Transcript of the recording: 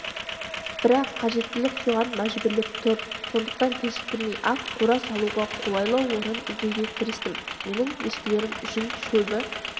бірақ қажеттілік соған мәжбүрлеп тұр сондықтан кешіктірмей-ақ қора салуға қолайлы орын іздеуге кірістім менің ешкілерім үшін шөбі